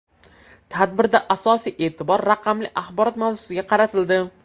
Tadbirda asosiy e’tibor raqamli axborot mavzusiga qaratildi.